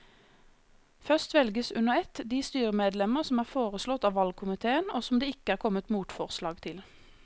Først velges under ett de styremedlemmer som er foreslått av valgkomiteen og som det ikke er kommet motforslag til.